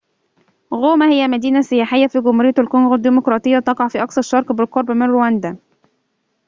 غوما هي مدينة سياحية في جمهورية الكونغو الديمقراطية تقع في أقصى الشرق بالقرب من رواندا